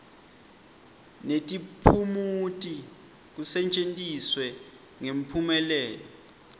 netiphumuti kusetjentiswe ngemphumelelo